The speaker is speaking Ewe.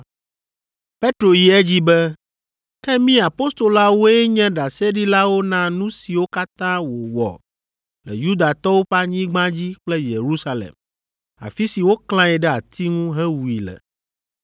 Petro yi edzi be, “Ke mí apostoloawoe nye ɖaseɖilawo na nu siwo katã wòwɔ le Yudatɔwo ƒe anyigba dzi kple Yerusalem, afi si woklãe ɖe ati ŋu hewui le.